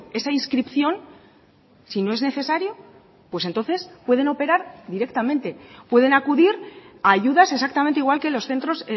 esa inscripción si no es necesario pues entonces pueden operar directamente pueden acudir a ayudas exactamente igual que los centros